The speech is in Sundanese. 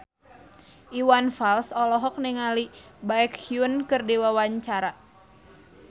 Iwan Fals olohok ningali Baekhyun keur diwawancara